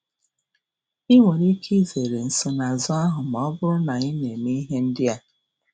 Ị nwere ike izere nsonaazụ ahụ ma ọ bụrụ na ị na-eme ihe ndị a.